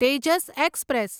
Tejas express